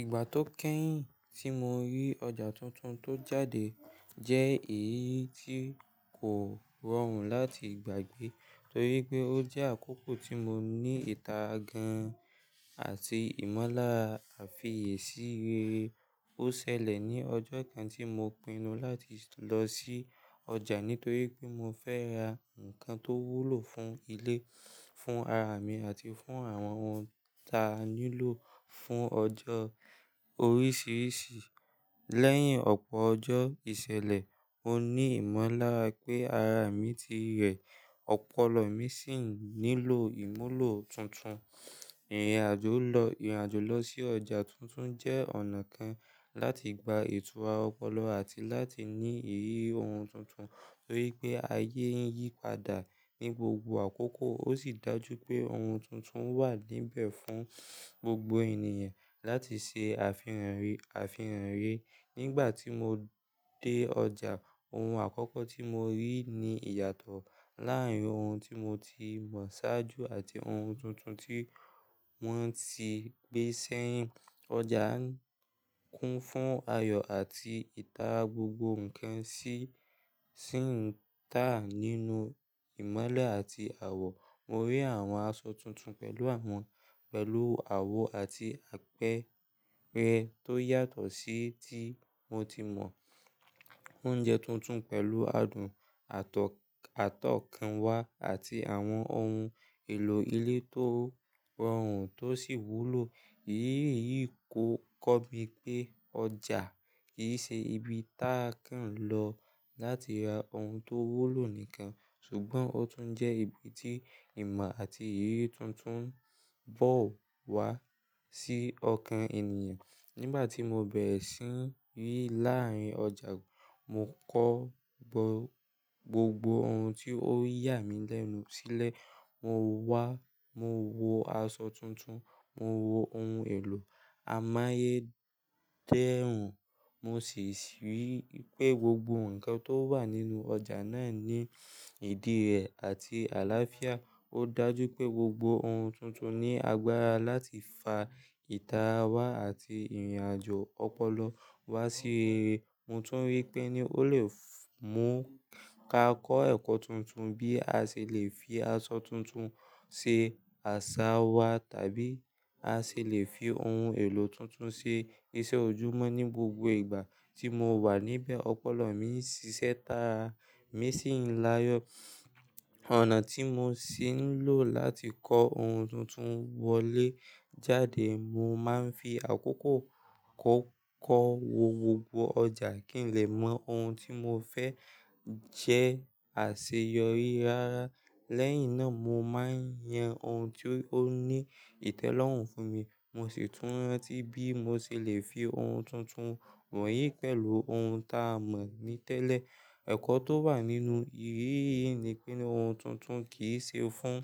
Ìgbà tó kẹ́yìn tí mo rí ọjà tuntun tó jáde jẹ́ èyí tí kò rọrùn láti gbàgbé torí pé ó jẹ́ àkókò tí mo ní itara gan-an àti ìmọ́lára àfiyèsí rere. Ó ṣẹlẹ̀ ní ọjọ́ kan tí mo pinnu láti lọ sí ọjà nítorí pé mo fẹ́ ra ǹkan tó wúlò fún ilé, fún ara mi àti fún àwọn ohun ta nílò fún ọjọ́ oríṣiríṣi. Lẹ́yìn ọ̀pọ̀ ọjọ́ ìṣẹ̀lẹ̀, mo ní ìmọ̀lára pé ara mi ti rẹ̀, ọpọlọ mi sì nílò ìmúlò tuntun. Ìrìnàjò lọ, ìrìnàjò lọ sí ọjà tuntun jẹ́ ọ̀nà kan láti gba ìtura ọpọlọ àti láti ní ìrírí ohun tuntun torí pé ayé ń yípadà ní gbogbo àkókò ó sì dájú pé ohun tuntun wà níbẹ̀ fún gbogbo ènìyàn láti ṣe àfihànri, àfihànri. Nígbà tí mo dé ọjà, ohun àkọ́kọ́ tí mo rí ni ìyàtọ̀ láàárín ohun tí mo ti mọ̀ ṣáájú àti ohun tuntun tí wọ́n ti gbé sẹ́yìn. Ọjà ń kún fún ayọ̀ àti ìta gbogbo ǹkan sì, sì ń tà nínú ìmọ́lẹ̀ àti àwọ̀. Mo rí àwọn aṣọ tuntun pẹ̀lú àwọn, pẹ̀lú àwo àti àpẹrẹ tó yàtọ̀ sí tí mo ti mọ̀. Oúnjẹ tuntun pẹ̀lú adùn atọ̀, atọ̀kànwá àti àwọn ohun èlò ilé tó rọrùn tó sì wúlò. Ìrírí yìí ko, kọ́ mi pé ọjà kì í ṣe ibi tá ń kan lọ láti ra ohun tó wúlò nìkan ṣùgbọ́n ó tún jẹ́ ibi tí ìmọ̀ àti ìrírí tuntun bọ̀ wá sí ọkàn ènìyàn. Nígbà tí mo bẹ̀rẹ̀ sí n rí láàárín ọjà, mo kọ́ gbogbo ohun tí ó yà mí lẹ́nu sílẹ̀. Mo wá, mo wo aṣọ tuntun, mo wo ohun èlò amáyé dẹ́rùn, mo sì si rí i pé gbogbo ǹkan tó wà nínú ọjà náà ní ìdí rẹ̀ àti àláfíà. Ó dájú pé gbogbo ohun tuntun ní agbára láti fa ìta wa àti ìrìnàjò ọpọlọ wá sí ire. Mo tún rí pé ni ó lè mú ka kọ́ ẹ̀kọ́ tuntun bí a ṣe lè fi aṣọ tuntun ṣe aṣa wa tàbí a ṣe lè fi ohun èlò tuntun ṣe iṣẹ́ ojúmọ́. Ni gbogbo ìgbà tí mo wà níbẹ̀, ọpọlọ mi ń ṣiṣẹ́ tàá, mi sì ń láyọ̀. Ọ̀nà tí mo sì ń lò láti kọ ohun tuntun wọlé jáde, mo máa ń fi àkókò kọ́kọ́ wo gbogbo ọjà kí n lè mọ ohun tí mo fẹ́ jẹ àṣeyọrí. Rárá, lẹ́yìn náà mo máa ń yan ohun tí ó ní ìtẹ́lọ́rùn fún mi. Mo sì tún rántí bí mo ṣe lè fi ohun tuntun wọ̀nyí pẹ̀lú ohun ta mọ̀ ni tẹ́lẹ̀. Ẹ̀kọ́ tó wà nínú ìrírí yìí ni pé ohun tuntun kì í ṣe fún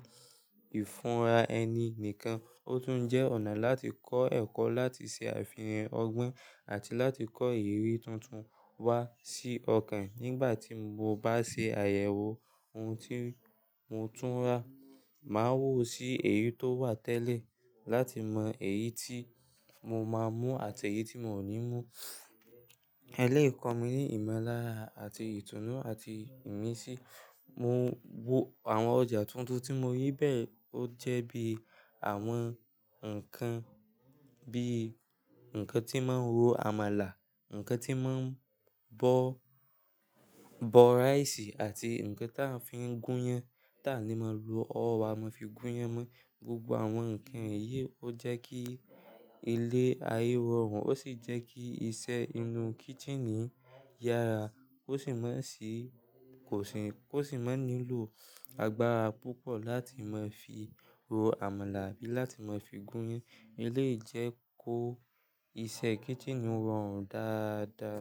ìfúnra ẹni nìkan, ó tún jẹ́ ọ̀nà láti kọ́ ẹ̀kọ́ láti ṣe àfihàn ọgbọ́n àti láti kọ ìrírí tuntun wá sí ọkàn. Nígbà tí mo bá ṣe àyẹ̀wò ohun tí mo tún rà, màá woo sí èyí tó wà tẹ́lẹ̀ láti mọ èyí tí mo máa mú àti èyí tí mò ní mú. Eléyìí kọ̀ mí ní ìmọ́lára àti ìtùnú àti ìmísí. Mo wo àwọn ọjà tuntun tí mo rí bẹ́ẹ̀ ó jẹ́ bí i àwọn ǹkan bí i ǹkan tí máa ń ro àmàlà, ǹkan tí máa ń bọ, bọ rice àti ǹkan tí a fi ń gúnyán ta ní máa lo ọwọ́ wa fi gúnyán mú. Gbogbo àwọn ǹkan èyí ó jẹ́ kí ilé ayé rọrùn ó sì jẹ́ kí iṣẹ́ inú kitchen yára kó sì má sì, kò sì, kó sì má nílò agbára púpọ̀ láti má fi ro àmàlà àbí láti má fi gúnyán. Eléyìí jẹ́ kó iṣẹ́ kitchen rọrùn dáadáa.